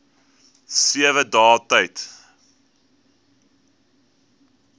sewe dae tyd